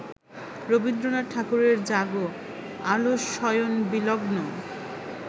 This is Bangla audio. রবীন্দ্রনাথ ঠাকুরের জাগ আলসশয়নবিলগ্ন